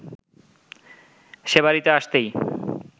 সে বাড়িতে আসতেই